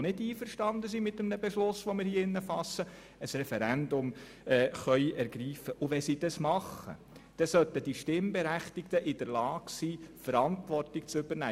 Und wenn sie das machen, dann sollten die Stimmberechtigten in der Lage sein, diese Verantwortung zu übernehmen.